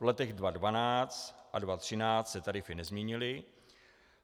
V letech 2012 a 2013 se tarify nezměnily.